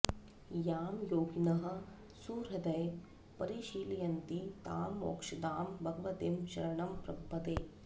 यां योगिनः सुहृदये परिशीलयन्ति तां मोक्षदां भगवतीं शरणं प्रपद्ये